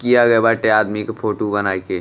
किया गए बाटे आदमी के फोटू बनाइके।